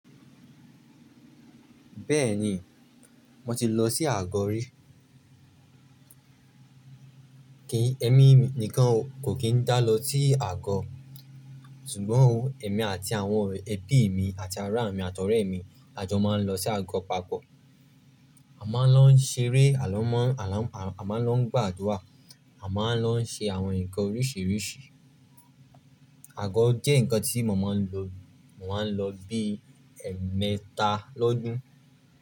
Bẹ́ẹ̀ni, mo ti lọ sí àgọ rí. Kìí, èmi nìkan kò kín dá lọ sí àgọ, ṣùgbọ́n èmi àti àwọn ẹbí mi àti ará mi àtọ̀rẹ́ mi a jọ máa ń lọ sí àgọ papọ̀. A máa ń lọ ṣeré, a máa ń lọ gbàdúrà, a máa ń lọ ṣe àwọn nǹkan oríṣiríṣi. Àgọ jẹ́ nǹkan tí mo máa ń lo, mo máa ń lọ bí ẹ̀ẹ̀mẹta lọ́dún.